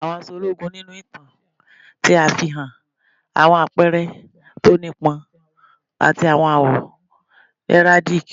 Àwọn aṣọ ologun ninu itan ṣe afihan awọn apẹrẹ ti o nipọn ati awọn awọ heraldic